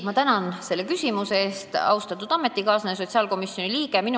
Ma tänan selle küsimuse eest, austatud ametikaaslane, sotsiaalkomisjoni liige!